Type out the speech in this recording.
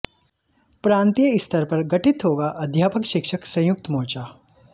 प्रांतीय स्तर पर गठित होगा अध्यापक शिक्षक संयुक्त मोर्चा